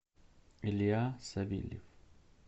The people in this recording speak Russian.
илья савельев